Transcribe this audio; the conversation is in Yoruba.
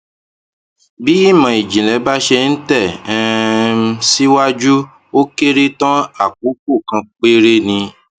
bí ìmò ìjìnlè bá ṣe ń tè um síwájú ó kéré tán àkókò kan péré ni